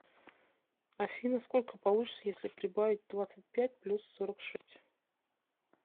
афина сколько получится если прибавить двадцать пять плюс сорок шесть